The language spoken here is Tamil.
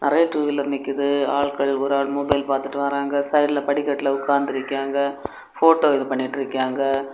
நறைய டூவீலர் நிக்குது ஆள்கள் ஒரு ஆள் மொபைல் பாத்துட்டு வராங்க சைடுல படிக்கட்டுல உக்காந்து இருக்காங்க ஃபோட்டோ இது பண்ணிட்டு இருக்காங்க.